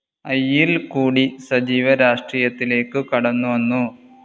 ഐയിൽ കൂടി സജീവ രാഷ്ട്രീയത്തിലേക്ക് കടന്നു വന്നു.